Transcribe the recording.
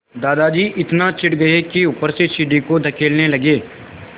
दादाजी इतना चिढ़ गए कि ऊपर से सीढ़ी को धकेलने लगे